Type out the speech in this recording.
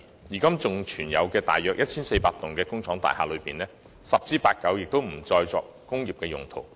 現在尚餘約 1,400 幢工廈當中，十之八九已不再用作工業用途。